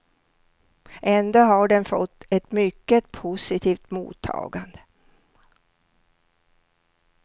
Ändå har den fått ett mycket positivt mottagande.